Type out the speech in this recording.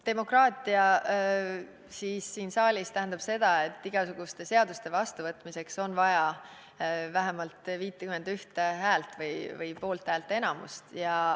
Demokraatia siin saalis tähendab seda, et igasuguste seaduste vastuvõtmiseks on vaja vähemalt 51 häält või poolthäälteenamust.